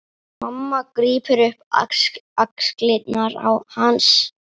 Mamma grípur um axlir hans.